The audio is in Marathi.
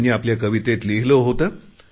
त्यांनी आपल्या कवितेत लिहिले होते